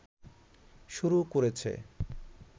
শুরু করেছে